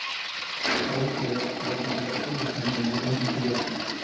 короче водитель автобуса не наделён интеллектом